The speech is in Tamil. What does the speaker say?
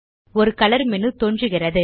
ஒரு கலர் மேனு தோன்றுகிறது